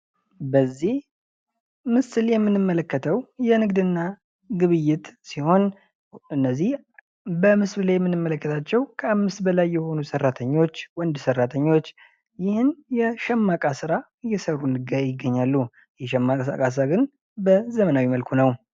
በዚህ ምሽል ላይ የምንመለከተው የንግድ እና ግብይት ሲሆን እነዚህ በምስሉ ላይ የምንመለከታቸው ከአምስት በላይ የሆኑ ሰራተኞች ወንድ ሰራተኞች ይህን የሸማ እቃ ስራ እየሰሩ ይገኛሉ። የሸማ እቃ ስራ ግን በዘመናዊ መልኩ ነው።